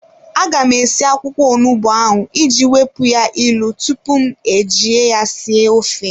A ga m esi akwụkwọ onugbu ahụ iji wepụ ya ilu tupu m eji ya sie ofe.